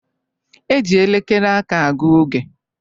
E ji elekere aka a gu oge